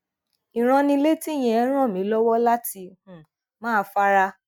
ìránnilétí yẹn ràn mí lọ́wọ́ láti um máa fara